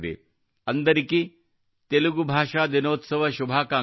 ಅಂದರಿಕೀ ತೆಲುಗು ಭಾಷಾ ದಿನೋತ್ಸವ ಶುಭಾಕಾಂಕ್ಷಲು